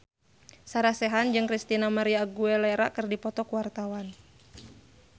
Sarah Sechan jeung Christina María Aguilera keur dipoto ku wartawan